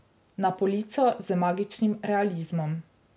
Na polico z magičnim realizmom.